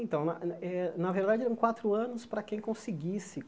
Então, na eh eh na verdade eram quatro anos para quem conseguisse.